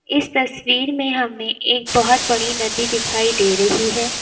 इस तस्वीर में हमें एक बहोत बड़ी नदी दिखाई दे रही है।